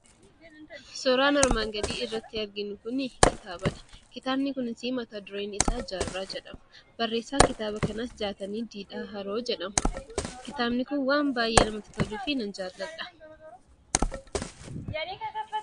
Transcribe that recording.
Suuraan armaan gadii irratti arginu kun, kitaabadha. Kitaabi kunis mata dureen isaa jaarraa jedhama. Barreessaan kitaaba kanas Jaatanii Didhaa Haroo jedhama. Kitaabni Kun waan baayyee namatti toluuf nan jaalladha.